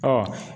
Ɔ